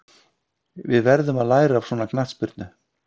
Við verðum að læra af svona knattspyrnu.